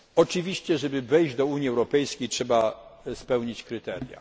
Oczywiście, żeby wejść do Unii Europejskiej trzeba spełnić kryteria.